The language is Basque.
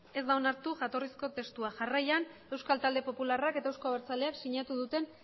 ez da onartu jatorrizko testua jarraian euskal talde popularrak eta euzko abertzaleak sinatu duten